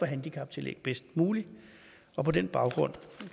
handicaptillæg bedst muligt og på den baggrund